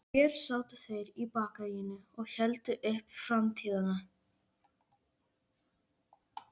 spyr hún og brosir til hans.